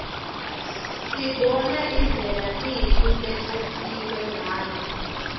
sibona indlela tindlu letakhiwe ngayo